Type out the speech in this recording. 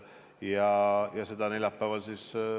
Seda valitsus neljapäeval arutab.